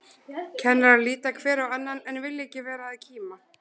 Kennarar líta hver á annan, en vilja ekki vera að kíma.